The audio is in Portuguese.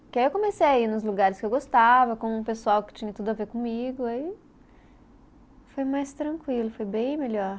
Porque aí eu comecei a ir nos lugares que eu gostava, com o pessoal que tinha tudo a ver comigo, aí foi mais tranquilo, foi bem melhor.